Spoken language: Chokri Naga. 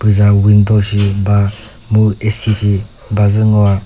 puza window shi ba mu A_C shi ba zü ngo.